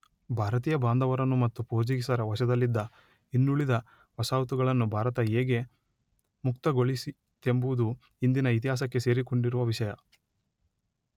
ಭಾರತೀಯ ಬಾಂಧವರನ್ನು ಮತ್ತು ಪೋರ್ಚುಗೀಸರ ವಶದಲ್ಲಿದ್ದ ಇನ್ನುಳಿದ ವಸಾಹತುಗಳನ್ನು ಭಾರತ ಹೇಗೆ ಮುಕ್ತಗೊಳಿಸಿತೆಂಬುದು ಇಂದಿನ ಇತಿಹಾಸಕ್ಕೆ ಸೇರಿಕೊಂಡಿರುವ ವಿಷಯ.